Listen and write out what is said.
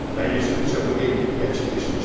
Ben yaşadıkça bu evlilik gerçekleşmeyecek.